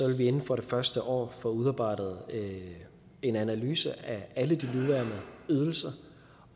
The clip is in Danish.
vi inden for det første år få udarbejdet en analyse af alle de nuværende ydelser